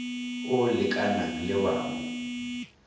o lekanang le wa mo